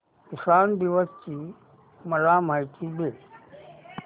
किसान दिवस ची मला माहिती दे